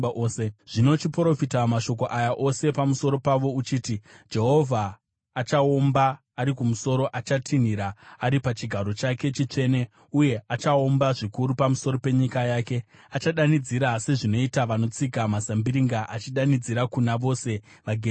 “Zvino chiprofita mashoko aya ose pamusoro pavo uchiti: “ ‘Jehovha achaomba ari kumusoro; achatinhira ari pachigaro chake chitsvene uye achaomba zvikuru pamusoro penyika yake. Achadanidzira sezvinoita vanotsika mazambiringa, achidanidzira kuna vose vagere panyika.